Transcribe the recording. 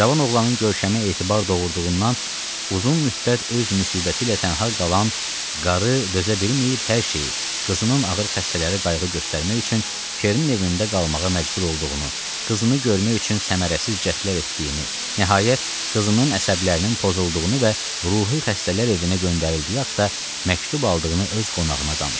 Cavan oğlanın görkəmi etibar doğurduğundan uzun müddət öz müsibəti ilə tənha qalan qarı dözə bilməyib hər şeyi, qızının ağır xəstələri qayğı göstərmək üçün Kernin evində qalmağa məcbur olduğunu, qızını görmək üçün səmərəsiz cəhdlər etdiyini, nəhayət qızının əsəblərinin pozulduğunu və ruhi xəstələr evinə göndərildiyi haqda məktub aldığını öz qonağına danışdı.